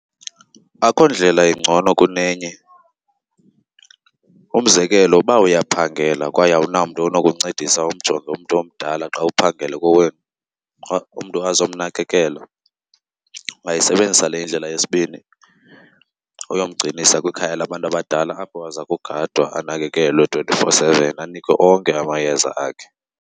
Akho ndlela ingcono kunenye. Umzekelo, uba uyaphangela kwaye awuna mntu onokuncedisa umjonge umntu omdala xa uphangele kowenu, umntu azomnakekela ungayisebenzisa le indlela yesibini, uyomgcinisa kwikhaya labantu abadala apho aza kugadwa anakekelwe twenty-four seven, anikwe onke amayeza akhe.